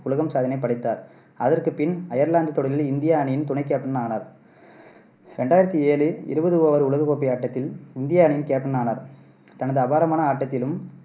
உலக சாதனையை படைத்தார். அதற்கு பின் ஐயர்லாந்து தொடரில் இந்தியா அணியின் துணைக்கேப்டன் ஆனார் ரெண்டாயிரத்தி ஏழு இருபது ஓவர் உலகக்கோப்பை ஆட்டத்தில் இந்தியா அணியின் கேப்டன் ஆனார். தனது அபாரமான ஆட்டத்திலும்,